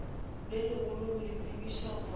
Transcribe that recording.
legolo go le tsebiša gore